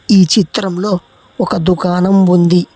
ఈ చిత్రంలో ఒక దుకాణం ఉంది.